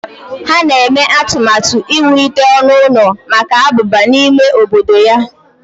Ha na-eme atụmatụ iwulite ọnụ ụlọ maka abụba n'ime obodo ya.